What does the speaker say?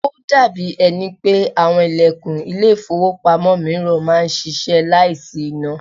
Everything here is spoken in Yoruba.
Ó dàbí ẹni pé àwọn ilẹ̀kùn ile-ifowopamo mìíràn máa ń ṣíṣe láìsí iná.